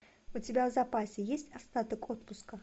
у тебя в запасе есть остаток отпуска